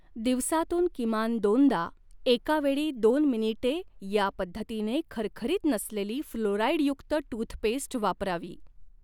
दिवसातून किमान दोनदा, एका वेळी दोन मिनिटे या पद्धतीने खरखरीत नसलेली फ्लोराईडयुक्त टूथपेस्ट वापरावी.